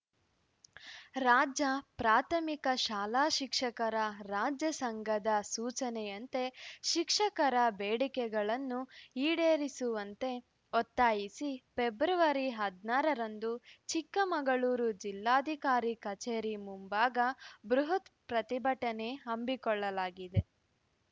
ರಾಜ್ಯ ಪ್ರಾಥಮಿಕ ಶಾಲಾ ಶಿಕ್ಷಕರ ರಾಜ್ಯ ಸಂಘದ ಸೂಚನೆಯಂತೆ ಶಿಕ್ಷಕರ ಬೇಡಿಕೆಗಳನ್ನು ಈಡೇರಿಸುವಂತೆ ಒತ್ತಾಯಿಸಿ ಪೆಬ್ರವರಿ ಹದನಾರರಂದು ಚಿಕ್ಕಮಗಳೂರು ಜಿಲ್ಲಾಧಿಕಾರಿ ಕಚೇರಿ ಮುಂಭಾಗ ಬೃಹತ್‌ ಪ್ರತಿಭಟನೆ ಹಮ್ಮಿಕೊಳ್ಳಲಾಗಿದೆ